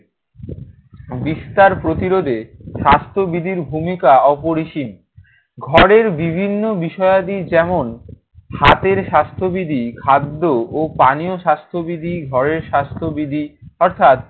বিস্তার প্রতিরোধে স্বাস্থ্যবিধির ভূমিকা অপরিসীম। ঘরের বিভিন্ন বিষয়াদি যেমন হাতের স্বাস্থ্যবিধি, খাদ্য ও পানীয় স্বাস্থ্যবিধি, ঘরের স্বাস্থ্যবিধি অর্থাৎ,